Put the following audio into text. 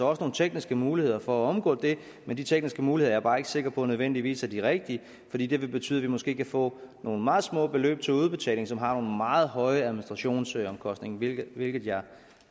også nogle tekniske muligheder for at omgå det men de tekniske muligheder er jeg bare ikke sikker på nødvendigvis er de rigtige fordi de vil betyde at vi måske kan få nogle meget små beløb til udbetaling som har nogle meget høje administrationsomkostninger hvilket hvilket jeg